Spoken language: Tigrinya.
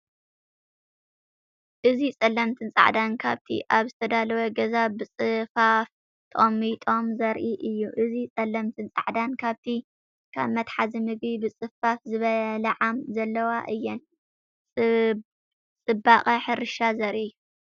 እዚ ጸለምትን ጻዕዳን ከብቲ ኣብ ዝተዳለወ ገዛ ብጽፉፍ ተቐሚጦም ዘርኢ እዩ። እዚ ጸለምትን ጻዕዳን ከብቲ፡ ካብ መትሓዚ ምግቢ ብጽፉፍ ዝበልዓ ዘለዋ እየን። ጽባቐ ሕርሻ ዘርኢ'ዩ።